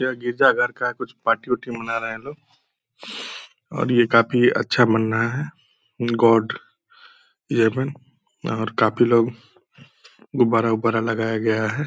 यह गिरजा घर का कुछ पार्टी उटी मना रहे है लोग और ये काफ़ी अच्छा मन रहा है गॉड और काफ़ी लोग गुब्बारा-उब्बारा लगाया गया है।